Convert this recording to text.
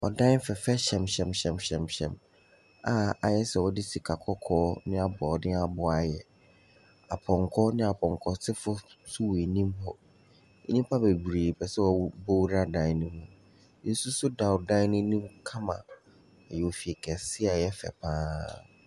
Adan fɛɛfɛ hyɛmhyɛmhyɛmhyɛmhyɛm a ayɛ sɛ wɔde sika kɔkɔɔ ne aboɔdenboɔ de ayɛ, apɔnkɔ ne apɔnkɔ fufuo nso wɔ anim hɔ. nnipa bebree pɛ sɛ wɔwu wɔwura dan ne mu. Nsu nso da ɔdan n’anim kama, ɛyɛ fie kɛse a ɛyɛ fɛ pa ara.